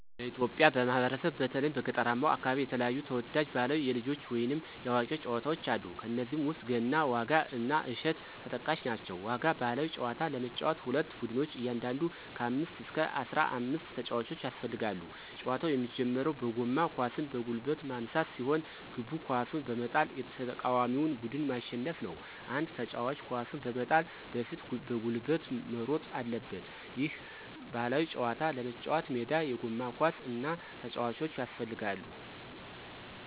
በኢትዮጵያ ማህበረሰብ በተለይም በገጠራማው አከባቢ የተለያዩ ተወዳጅ ባህላዊ የልጆች ወይንም የአዋቂዎች ጨዋታወች አሉ። ከነዚህም ውስጥ ገና፣ ዋጋ እና እሸት ተጠቃሽ ናቸው። ዋጋ ባህላዊ ጨዋታ ለመጫወት ሁለት ቡድኖች እያንዳንዱ ከ አምስት እስከ አስራአምስት ተጫዋቾች ያስፈልጋሉ። ጨዋታው የሚጀምረው በጎማ ኳስን በጉልበት ማንሳት ሲሆን፤ ግቡ ኳሱን በመጣል የተቃዋሚውን ቡድን ማሸነፍ ነው። አንድ ተጫዋች ኳሱን በመጣል በፊት በጉልበት መሮጥ አለበት። ይህን ባህላዊ ጨዋታ ለመጫወት ሜዳ፣ የጎማ ኳስ እና ተጫዋቾች ያስፈልጋሉ።